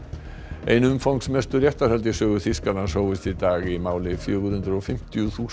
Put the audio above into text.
ein umfangsmestu réttarhöld í sögu Þýskalands hófust í dag í máli fjögur hundruð og fimmtíu þúsund